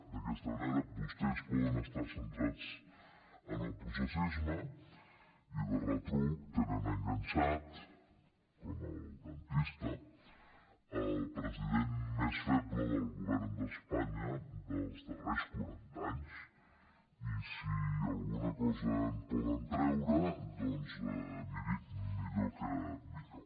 d’aquesta manera vostès poden estar centrats en el processisme i de retruc tenen enganxat com al dentista el president més feble del govern d’espanya dels darrers quaranta anys i si alguna cosa en poden treure doncs miri millor que millor